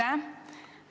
Aitäh!